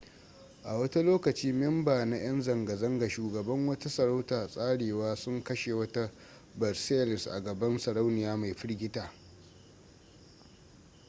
a wata lokaci memba na yan zanga-zanga shugaban wata sarauta tsarewa sun kashe wata versailles a gaban sarauniya mai firgita